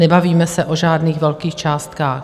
Nebavíme se o žádných velkých částkách.